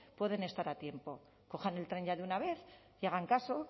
pueden estar a tiempo cojan el tren ya de una vez que hagan caso